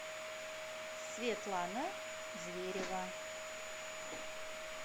светлана зверева